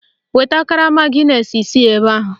Weta karama gịnesị isii ebe a!